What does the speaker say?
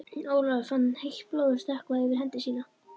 Ólafur fann heitt blóðið stökkva yfir hendi sína.